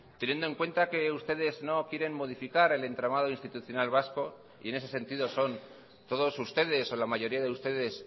teniendo en cuenta que ustedes no quieren modificar el entramado institucional vasco y en ese sentido son todos ustedes o la mayoría de ustedes